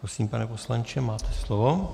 Prosím, pane poslanče, máte slovo.